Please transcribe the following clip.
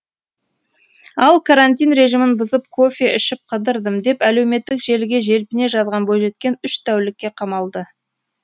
ал карантин режимін бұзып кофе ішіп қыдырдым деп әлеуметтік желіге желпіне жазған бойжеткен үш тәулікке қамалды